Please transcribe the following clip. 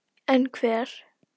En hver?